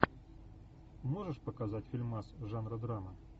можешь показать фильмас жанра драма